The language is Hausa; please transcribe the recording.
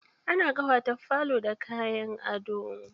Ana ƙawata falo da kayan ado.